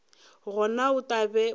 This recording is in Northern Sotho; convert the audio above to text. gona o tla be o